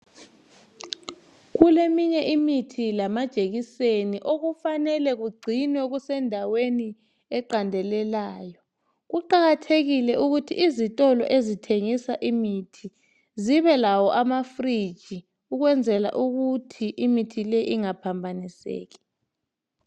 Kuleminye imithi lamajekiseni okufanele kugcinwe kusendaweni eqandelelayo. Kuqakathekile ukuthi izitolo ezithengisa imithi zibelawo ama"fridge" ukwenzela ukuthi imithi le ingaphambaniseki.